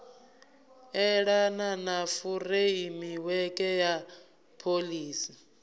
elana na furemiweke ya pholisi